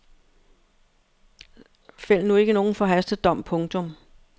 Fæld nu ikke nogen forhastet dom. punktum